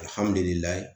Alihamudulila